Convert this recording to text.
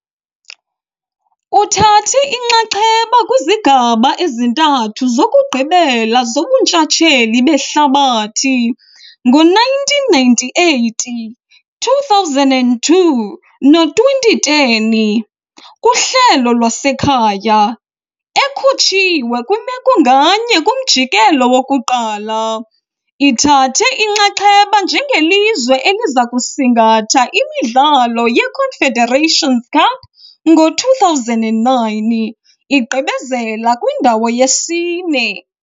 Uthathe inxaxheba kwizigaba ezintathu zokugqibela zobuntshatsheli behlabathi, ngo1998, 2002 no2010, kuhlelo lwasekhaya, ekhutshiwe kwimeko nganye kumjikelo wokuqala. Ithathe inxaxheba njengelizwe eliza kusingatha imidlalo yeConfederations Cup ngo-2009, igqibezela kwindawo yesine.